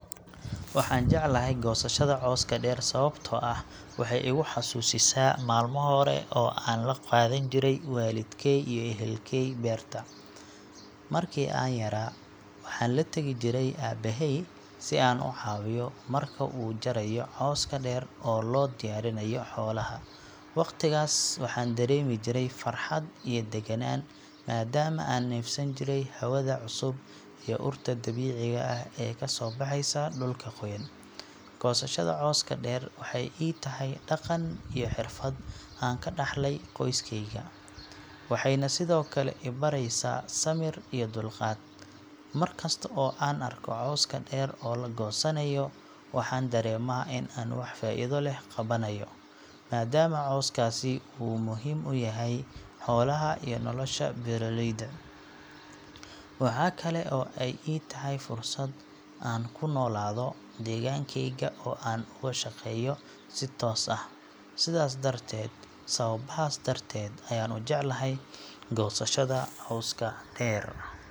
Waxaan jeclahay goosashada cawska dheer sababtoo ah waxay igu xasuusisaa maalmo hore oo aan la qaadan jiray waalidkey iyo ehelkey beerta. Markii aan yaraa, waxaan la tegi jiray aabbahay si aan u caawiyo marka uu jarayo cawska dheer oo loo diyaarinayo xoolaha. Waqtigaas waxaan dareemi jiray farxad iyo deganaan maadaama aan neefsan jiray hawada cusub iyo urta dabiiciga ah ee ka soo baxaysa dhulka qoyan. Goosashada cawska dheer waxay ii tahay dhaqan iyo xirfad aan ka dhaxlay qoyskayga, waxayna sidoo kale i baraysaa samir iyo dulqaad. Mar kasta oo aan arko cawska dheer oo la goosanayo, waxaan dareemaa in aan wax faa’iido leh qabanayo, maadaama cawskaasi uu muhiim u yahay xoolaha iyo nolosha beeraleyda. Waxa kale oo ay ii tahay fursad aan ku noolaado deegaankeyga oo aan uga shaqeeyo si toos ah. Sidaas darteed, sababahaas darteed ayaan u jeclahay goosashada cawska dheer.